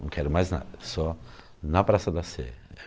Não quero mais nada, só na Praça da Sé.